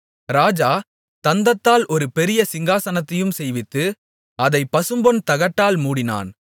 ராஜா தந்தத்தால் ஒரு பெரிய சிங்காசனத்தையும் செய்வித்து அதைப் பசும்பொன் தகட்டால் மூடினான்